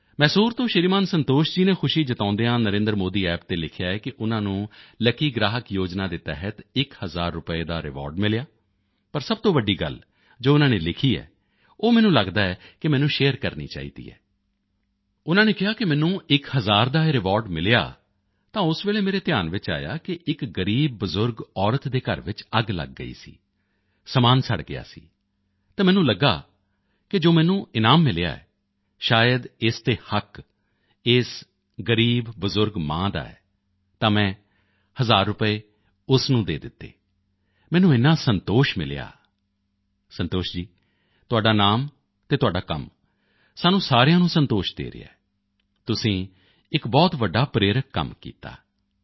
ਮੈਸੂਰ ਤੋਂ ਸ਼੍ਰੀਮਾਨ ਸੰਤੋਸ਼ ਜੀ ਨੇ ਖੁਸ਼ੀ ਜਤਾਉਂਦਿਆਂ ਹੋਇਆਂ ਨਰੇਂਦਰਮੋਦੀਅੱਪ ਤੇ ਲਿਖਿਆ ਹੈ ਕਿ ਉਨ੍ਹਾਂ ਨੂੰ ਲੱਕੀ ਗ੍ਰਾਹਕ ਯੋਜਨਾ ਦੇ ਤਹਿਤ ਇਕ ਹਜ਼ਾਰ ਰੁਪਏ ਦਾ ਰਿਵਾਰਡ ਮਿਲਿਆ ਲੇਕਿਨ ਸਭ ਤੋਂ ਵੱਡੀ ਗੱਲ ਜੋ ਉਨ੍ਹਾਂ ਨੇ ਲਿਖੀ ਹੈ ਉਹ ਮੈਨੂੰ ਲੱਗਦਾ ਹੈ ਕਿ ਮੈਨੂੰ ਸ਼ੇਅਰ ਕਰਨੀ ਚਾਹੀਦੀ ਹੈ ਉਨ੍ਹਾਂ ਨੇ ਕਿਹਾ ਕਿ ਮੈਨੂੰ ਇਕ ਹਜ਼ਾਰ ਦਾ ਇਹ ਰਿਵਾਰਡ ਮਿਲਿਆ ਤਾਂ ਉਸੇ ਵੇਲੇ ਮੇਰੇ ਧਿਆਨ ਵਿੱਚ ਆਇਆ ਕਿ ਇਕ ਗ਼ਰੀਬ ਬਜ਼ੁਰਗ ਔਰਤ ਦੇ ਘਰ ਵਿੱਚ ਅੱਗ ਲੱਗ ਗਈ ਸੀ ਸਮਾਨ ਸੜ ਗਿਆ ਸੀ ਤਾਂ ਮੈਨੂੰ ਲੱਗਿਆ ਕਿ ਜੋ ਮੈਨੂੰ ਇਨਾਮ ਮਿਲਿਆ ਹੈ ਸ਼ਾਇਦ ਇਸ ਤੇ ਹੱਕ ਇਸ ਗ਼ਰੀਬ ਬਜ਼ੁਰਗ ਮਾਂ ਦਾ ਹੈ ਤਾਂ ਮੈਂ ਹਜ਼ਾਰ ਰੁਪਏ ਉਸੇ ਨੂੰ ਦੇ ਦਿੱਤੇ ਮੈਨੂੰ ਏਨਾ ਸੰਤੋਸ਼ ਮਿਲਿਆ ਸੰਤੋਸ਼ ਜੀ ਤੁਹਾਡਾ ਨਾਮ ਅਤੇ ਤੁਹਾਡਾ ਕੰਮ ਸਾਨੂੰ ਸਾਰਿਆਂ ਨੂੰ ਸੰਤੋਸ਼ ਦੇ ਰਿਹਾ ਹੈ ਤੁਸੀਂ ਇਕ ਬਹੁਤ ਵੱਡਾ ਪ੍ਰੇਰਕ ਕੰਮ ਕੀਤਾ